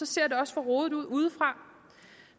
ser det også for rodet ud udefra